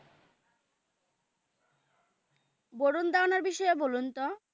ভারুন ধাওান এর বিষয়ে বলুন তো